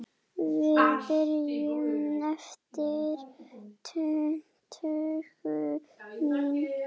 Við byrjum eftir tuttugu mín